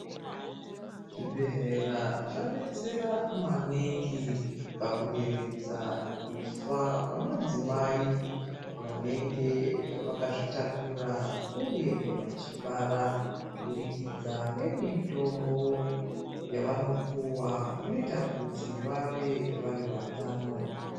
Zvibhedhlera zvabetsera maningi pakuderedza kufa kwamadzimai vanenge vakazvitakura, uye vachibara kubudikidza ngemitombo yavanopuwa inoita kuti vave vari vatano.